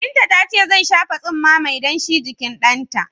Binta ta ce zai shafa tsumma mai danshi jikin ɗanta.